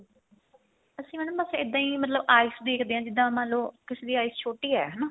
ਅਸੀਂ madam ਬੱਸ ਇੱਦਾਂ ਈ ਮਤਲਬ eyes ਦੇਖਦੇ ਆ ਜਿੱਦਾਂ ਮੰਨਲੋ ਕਿਸੇ ਦੀ eyes ਛੋਟੀ ਏ ਹਨਾ